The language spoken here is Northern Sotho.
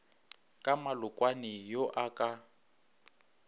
ka malokwane yo a ka